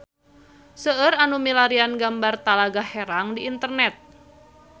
Seueur nu milarian gambar Talaga Herang di internet